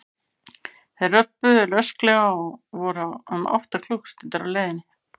Þeir löbbuðu rösklega og voru um átta klukkustundir á leiðinni.